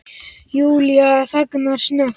Júlía þagnar snöggt.